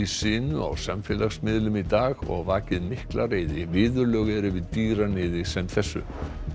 sinu á samfélagsmiðlum í dag og vakið mikla reiði viðurlög eru við dýraníði sem þessu